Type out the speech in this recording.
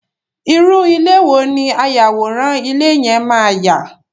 irú ilé wo ni ayàwòrán ilé yẹn máa yà?